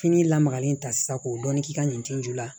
Fini lamagalen ta sisan k'o dɔɔnin k'i ka ɲintinju la